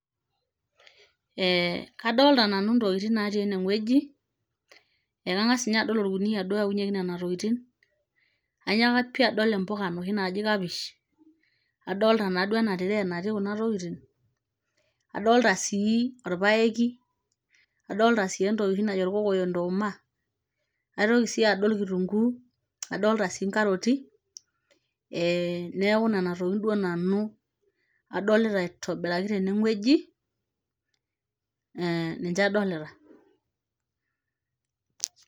eh kadolta nanu intokiting natii eneng'ueji ekang'as ninye adol orkuniyia duo oyaunyieki nena tokiting anyaaka pii adol impuka inoshi naji kapish adolta naa duo ena tiree natii kuna tokitin adolta sii orpayeki adolta sii entoki oshi najo irkokoyok ntooma aitoki sii adol kitunguu adolta sii inkaroti eh neeku nana tokiting duo nanu adolita aitobiraki teneng'ueji eh ninche adolita.